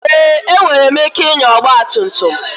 Èé! Enwere m ike ịnya ọgba tum tum.